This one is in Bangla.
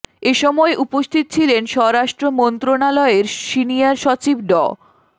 এ সময় উপস্থিত ছিলেন স্বরাষ্ট্র মন্ত্রণালয়ের সিনিয়র সচিব ড